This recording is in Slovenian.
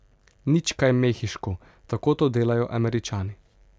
Nič kaj mehiško, tako to delajo Američani.